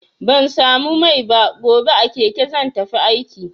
Ban samu mai ba, gobe a keke zan tafi aiki.